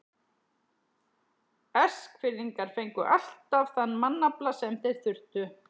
Eskfirðingar fengu alltaf þann mannafla sem þeir þurftu.